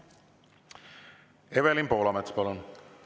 Evelin Poolamets, palun!